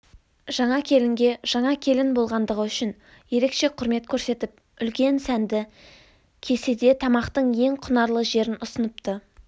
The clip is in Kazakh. жаңа келінге жаңа келін болғандығы үшін ерекше құрмет көрсетіп үлкенсәнді кеседетамақтың ең құнарлы жерін ұсыныпты